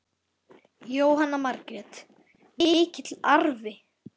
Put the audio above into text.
Jóhanna Margrét: Mikill arfi?